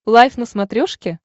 лайф на смотрешке